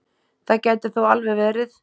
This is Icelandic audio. Það gæti þó alveg verið.